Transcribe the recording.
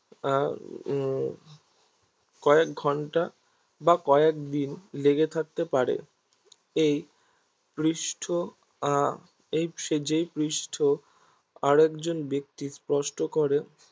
আহ কয়েক ঘন্টা বা কয়েকদিন লেগে থাকতে পারে এই পৃষ্ঠ আহ এই সে যেই পৃষ্ঠ আরেকজন ব্যক্তি স্পর্শ করে